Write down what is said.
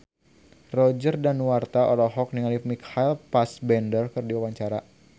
Roger Danuarta olohok ningali Michael Fassbender keur diwawancara